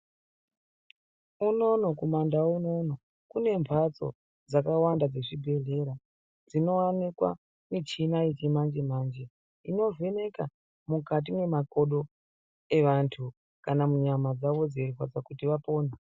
Unono kumandau unono, kune mphatso dzakawanda dzezvibhedhlera, dzinowanikwa michina yechimanje-manje, inovheneka mukati mwemakodo evantu ,kana munyama dzavo dzeirwadza kuti vapone.